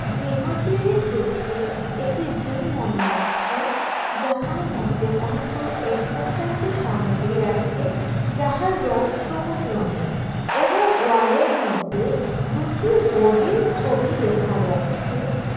গৃহটি দেখে একটি জিম মনে হচ্ছে যাহার মধ্যে অনেকগুলো এক্সেসাইজের সামগ্রী আছে যাহার রং সবুজ রঙের এবং ওয়ালয়ের মধ্যে দুটি বডির ছবি দেখা যাচ্ছে।